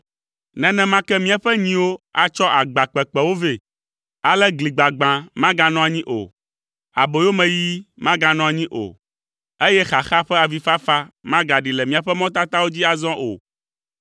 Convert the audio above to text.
Nenema ke míaƒe nyiwo atsɔ agba kpekpewo vɛ. Ale gli gbagbã maganɔ anyi o, aboyomeyiyi maganɔ anyi o, eye xaxa ƒe avifafa magaɖi le míaƒe mɔtatawo dzi azɔ o.